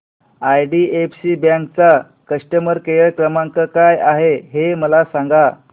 IDFC bank चा customer care क्रमांक काय आहे हे मला सांगा